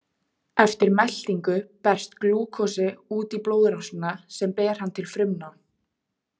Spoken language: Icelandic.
Eftir meltingu berst glúkósi út í blóðrásina sem ber hann til frumna.